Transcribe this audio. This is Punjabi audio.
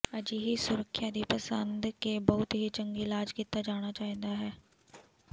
ਅਜਿਹੀ ਸੁਰੱਖਿਆ ਦੀ ਪਸੰਦ ਕੇ ਬਹੁਤ ਹੀ ਚੰਗੀ ਇਲਾਜ ਕੀਤਾ ਜਾਣਾ ਚਾਹੀਦਾ ਹੈ